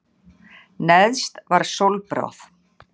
Neðst var sólbráð.